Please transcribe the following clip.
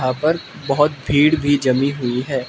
पर बहुत भीड़ भी जमी हुई है।